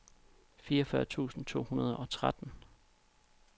fireogfyrre tusind to hundrede og tretten